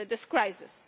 this crisis.